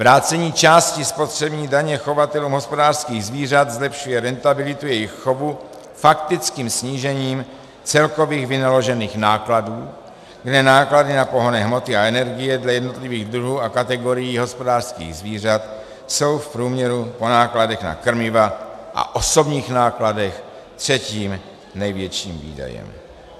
Vrácení části spotřební daně chovatelům hospodářských zvířat zlepšuje rentabilitu jejich chovu faktickým snížením celkových vynaložených nákladů, kde náklady na pohonné hmoty a energie dle jednotlivých druhů a kategorií hospodářských zvířat jsou v průměru po nákladech na krmiva a osobních nákladech třetím největším výdajem.